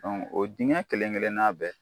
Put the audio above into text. o dingɛ kelen kelenna bɛɛ